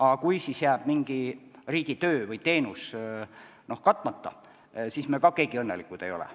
Aga kui siis jääb riigi töö tegemata, mõni teenus osutamata, ega me siis keegi õnnelikud ei ole.